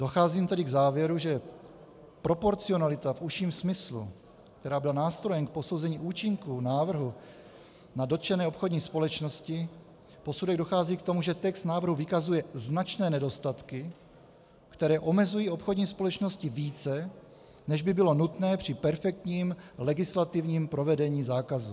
Docházím tedy k závěru, že proporcionalita v užším smyslu, která byla nástrojem k posouzení účinku návrhu na dotčené obchodní společnosti, posudek dochází k tomu, že text návrhu vykazuje značné nedostatky, které omezují obchodní společnosti více, než by bylo nutné při perfektním legislativním provedení zákazu.